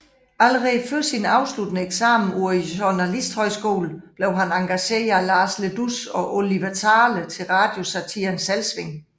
Allerede før sin afsluttende eksamen på journalisthøjskolen blev han engageret af Lars Le Dous og Oliver Zahle til radiosatiren Selvsving